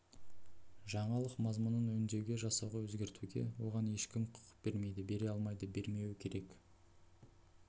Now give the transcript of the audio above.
жаңалық мазмұнын өңдеуге жасауға өзгертуге оған ешкім құқық бермейді бере алмайды бермеуі керек